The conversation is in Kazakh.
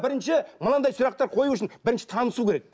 бірінші мынандай сұрақтар қою үшін бірінші танысу керек